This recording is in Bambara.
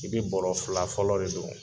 I bɛ bɔrɔ fila fɔlɔ de don.